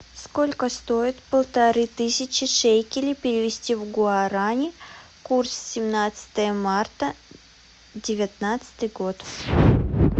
сколько стоит полторы тысячи шекелей перевести в гуарани курс семнадцатое марта девятнадцатый год